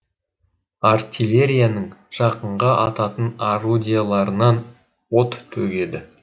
артиллерияның жақынға ататын орудияларынан от төгеді